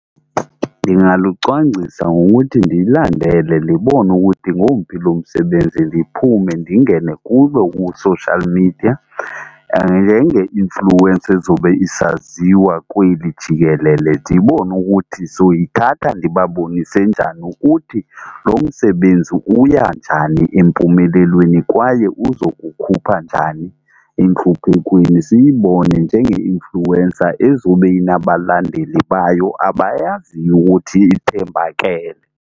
Ndingalucwangcisa ngokuthi ndiyilandele ndibone ukuthi ngomphi lo msebenzi ndiphume ndingene kuwo ku-social media njenge-influencer ezobe isaziwa kweli jikelele, ndibone ukuthi sowuyithatha ndibabonise njani ukuthi lo msebenzi uya njani empumelelweni, kwaye uzokukhupha njani entluphekweni. Siyibone njenge-influencer ezobe inabalandeli bayo abayaziyo ukuthi ithembakele.